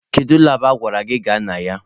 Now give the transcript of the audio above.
Kedu labụ a gwara anyị gaba na ya?